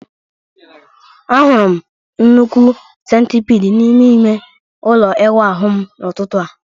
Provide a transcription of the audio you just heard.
Ahụrụ m nnukwu centipide n'ime ime ụlọ ịwụ m n'ụtụtụ a